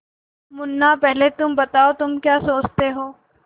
मुन्ना पहले तुम बताओ तुम क्या सोचते हो